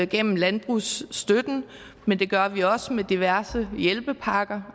gennem landbrugsstøtten men det gør vi også med diverse hjælpepakker